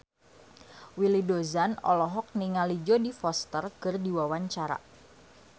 Willy Dozan olohok ningali Jodie Foster keur diwawancara